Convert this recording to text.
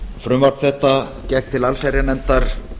frumvarp þetta gekk til allsherjarnefndar